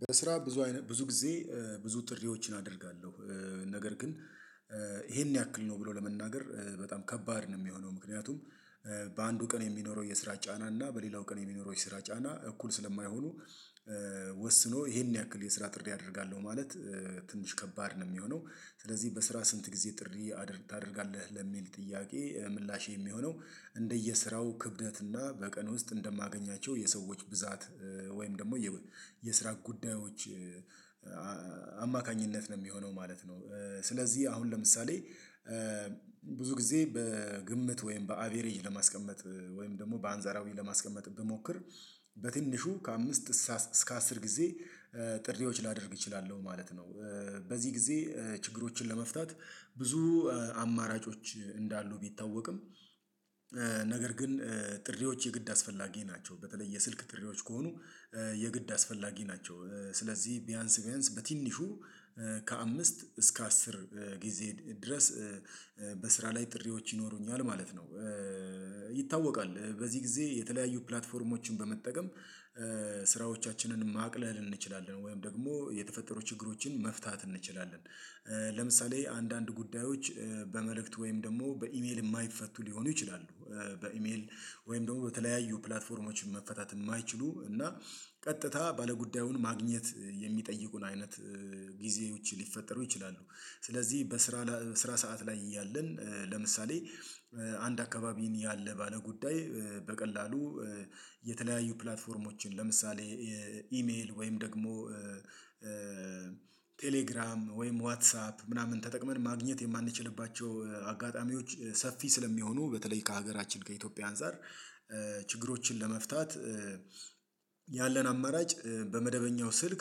በስራ ብዙ አይነት ብዙ ጊዜ ብዙ ጥሪዎችን አደርጋለሁ። ነገር ግን ይሄን ያክል ነው ብሎ ለመናገር በጣም ከባድ ነው የሚሆነው ምክንያቱም። በአንዱ ቀን የሚኖረው የስራ ጫና እና በሌላው ቀን የሚኖረው የስራ ጫና እኩል ስለማይሆኑ ወስኖ ይሄን ያክል የስራ ጥሪ አደርጋለሁ ማለት ትንሽ ከባድ ነው የሚሆነው። ስለዚህ በስራ ስንት ጊዜ ጥሪ ታደርጋለህ ለሚል ጥያቄ ምላሽ የሚሆነው። እንደየስራው ክብደት እና በቀን ውስጥ እንደማገኛቸው የሰዎች ብዛት ወይም ደግሞ የስራ ጉዳዮች አማካኝነት ነው የሚሆነው ማለት ነው። ስለዚህ አሁን ለምሳሌ ብዙ ጊዜ በግምት ወይም በአቬሬጅ ለማስቀመጥ ወይም ደግሞ በአንዛራዊ ለማስቀመጥ ብሞክር በትንሹ ከአምስት እስከ አስር ጊዜ ጥሪዎች ላደርግ እችላለሁ ማለት ነው። በዚህ ጊዜ ችግሮችን ለመፍታት ብዙ አማራጮች እንዳሉ ቢታወቅም ግን ጥሪዎች የግድ አስፈላጊ ናቸው። በተለይ የስልክ ጥሪዎች ከሆኑ የግድ አስፈላጊ ናቸው። ስለዚህ ቢያንስ ቢያንስ በትንሹ ከአምስት እስከ አስር ጊዜ ድረስ በስራ ላይ ጥሪዎች ይኖሩኛል ማለት ነው። ይታወቃል በዚህ ጊዜ የተለያዩ ፕላትፎርሞችን በመጠቀም ስራዎቻችንን ማቅለል እንችላለን ወይም ደግሞ የተፈጠሩ ችግሮችን መፍታት እንችላለን። ለምሳሌ አንዳንድ ጉዳዮች በመልእክት ወይም ደግሞ በኢሜል የማይፈቱ ሊሆኑ ይችላሉ። በኢሜል ወይም ደግሞ በተለያዩ ፕላትፎርሞች መፈታት የማይችሉ እና ቀጥታ ባለጉዳዩን ማግኘት የሚጠይቁን አይነት ጊዜዎች ሊፈጠሩ ይችላሉ። ስለዚህ በስራ ስራ ሰዓት ላይ እያለን ለምሳሌ አንድ አካባቢን ያለ ባለ ጉዳይ በቀላሉ የተለያዩ ፕላትፎርሞችን ለምሳሌ ኢሜል ወይም ደግሞ ቴሌግራም ወይም ዋትሳፕ ምናምን ተጠቅመን ማግኘት የማንችልባቸው አጋጣሚዎች ሰፊ ስለሚሆኑ በተለይ ከሀገራችን ከኢትዮጵያ አንፃር ችግሮችን ለመፍታት ያለን አማራጭ በመደበኛው ስልክ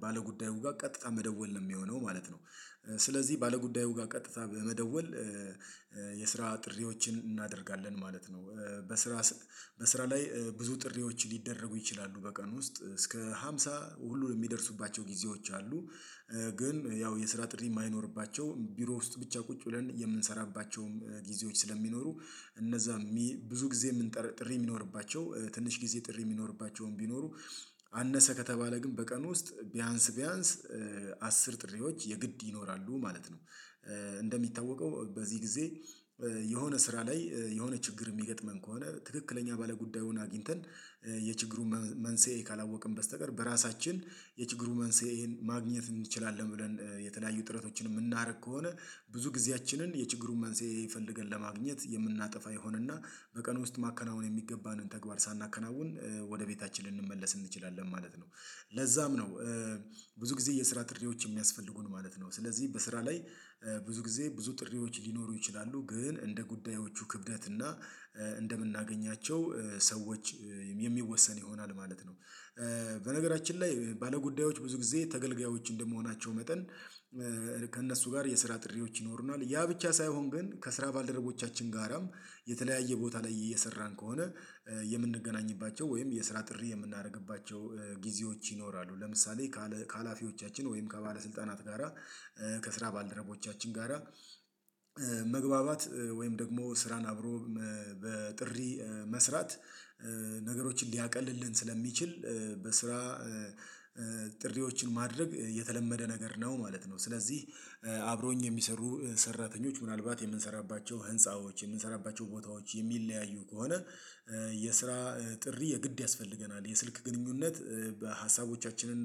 ባለጉዳዩ ጋር ቀጥታ መደወል ነው የሚሆነው ማለት ነው። ስለዚህ ባለጉዳዩ ጋር ቀጥታ በመደወል የስራ ጥሪዎችን እናደርጋለን ማለት ነው። በስራ በስራ ላይ ብዙ ጥሪዎች ሊደረጉ ይችላሉ በቀን ውስጥ እስከ ሃምሳ ሁሉ የሚደርሱባቸው ጊዜዎች አሉ። ግን ያው የስራ ጥሪ የማይኖርባቸው ቢሮ ውስጥ ብቻ ቁጭ ብለን የምንሰራባቸውም ጊዜዎች ስለሚኖሩ እነዛ ብዙ ጊዜ ጥሪ የሚኖርባቸው ትንሽ ጊዜ ጥሪ የሚኖርባቸውም ቢኖሩ አነሰ ከተባለ ግን በቀኑ ውስጥ ቢያንስ ቢያንስ አስር ጥሪዎች የግድ ይኖራሉ ማለት ነው። እንደሚታወቀው በዚህ ጊዜ የሆነ ስራ ላይ የሆነ ችግር የሚገጥመን ከሆነ ትክክለኛ ባለጉዳዩን አግኝተን የችግሩን መንስኤ ካላወቅን በስተቀር በራሳችን የችግሩን መንስኤን ማግኘት እንችላለን ብለን የተለያዩ ጥረቶችን የምናደርግ ከሆነ ብዙ ጊዜያችንን የችግሩን መንስኤ ፈልገን ለማግኘት የምናጠፋ ይሆንና በቀን ውስጥ ማከናወን የሚገባንን ተግባር ሳናከናውን ወደ ቤታችን ልንመለስ እንችላለን ማለት ነው። ለዛም ነው ብዙ ጊዜ የስራ ጥሪዎች የሚያስፈልጉን ማለት ነው ስለዚህ በስራ ላይ ብዙ ጊዜ ብዙ ጥሪዎች ሊኖሩ ይችላሉ ግን እንደ ጉዳዮቹ ክብደት እና እንደምናገኛቸው ሰዎች የሚወሰን ይሆናል ማለት ነው። በነገራችን ላይ ባለጉዳዮች ብዙ ጊዜ ተገልጋዮች እንደመሆናቸው መጠን ከእነሱ ጋር የስራ ጥሪዎች ይኖሩናል ያ ብቻ ሳይሆን ግን ከስራ ባልደረቦቻችን ጋራም የተለያየ ቦታ ላይ እየሰራን ከሆነ የምንገናኝባቸው ወይም የስራ ጥሪ የምናደርግባቸው ጊዜዎች ይኖራሉ። ለምሳሌ ከሀላፊዎቻችን ወይም ከባለስልጣናት ጋራ ከስራ ባልደረቦቻችን ጋራ መግባባት ወይም ደግሞ ስራን አብሮ በጥሪ መስራት ነገሮችን ሊያቀልልን ስለሚችል በስራ ጥሪዎችን ማድረግ የተለመደ ነገር ነው ማለት ነው። ስለዚህ አብረውኝ የሚሰሩ ሰራተኞች ምናልባት የምንሰራባቸው ህንፃዎች የምንሰራባቸው ቦታዎች የሚለያዩ ከሆነ የስራ ጥሪ የግድ ያስፈልገናል የስልክ ግንኙነት በሀሳቦቻችንን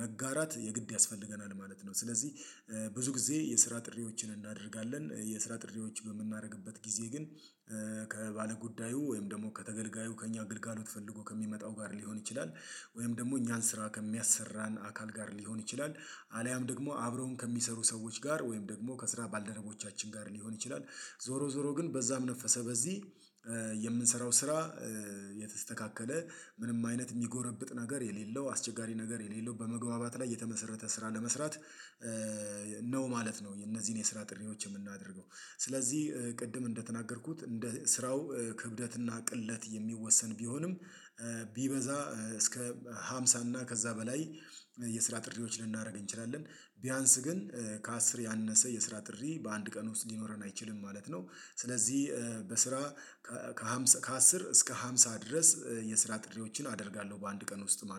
መጋራት የግድ ያስፈልገናል ማለት ነው። ስለዚህ ብዙ ጊዜ የስራ ጥሪዎችን እናደርጋለን የስራ ጥሪዎች በምናደርግበት ጊዜ ግን ከባለጉዳዩ ወይም ደግሞ ከተገልጋዩ ከእኛ ግልጋሎት ፈልጎ ከሚመጣው ጋር ሊሆን ይችላል። ወይም ደግሞ እኛን ስራ ከሚያሰራን አካል ጋር ሊሆን ይችላል። አልያም ደግሞ አብረውም ከሚሰሩ ሰዎች ጋር ወይም ደግሞ ከስራ ባልደረቦቻችን ጋር ሊሆን ይችላል። ዞሮ ዞሮ ግን በዛም ነፈሰ በዚህ የምንሰራው ስራ የተስተካከለ ምንም አይነት የሚጎረብጥ ነገር የሌለው አስቸጋሪ ነገር የሌለው በመግባባት ላይ የተመሰረተ ስራ ለመስራት ነው ማለት ነው። የነዚህን የስራ ጥሪዎች የምናደርገው ስለዚህ ቅድም እንደተናገርኩት እንደ ስራው ክብደትና ቅለት የሚወሰን ቢሆንም ቢበዛ እስከ ሃምሳ እና ከዛ በላይ የስራ ጥሪዎች ልናደርግ እንችላለን። ቢያንስ ግን ከአስር ያነሰ የስራ ጥሪ በአንድ ቀን ውስጥ ሊኖረን አይችልም ማለት ነው። ስለዚህ በስራ ከሃምሳ ከአስር እስከ ሃምሳ ድረስ የስራ ጥሪዎችን አደርጋለሁ በአንድ ቀን ውስጥ ማለት ነው